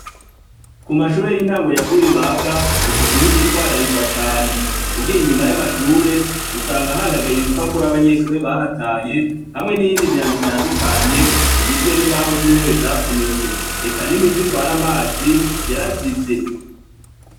Ku mashure y'intango yagwibaga isuku ntigitwararikwa cane ugiye inyuma y'amashure usanga ahandagaye ibipapuro abanyeshure bahataye hamwe n'iyindi myanda itandukanye igizwe n'imbaho z'intebe zavunitse eka nimivi twari amazi yarazivye.